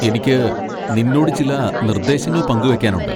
എനിക്ക് നിന്നോട് ചില നിർദ്ദേശങ്ങൾ പങ്കുവെയ്ക്കാനുണ്ട്.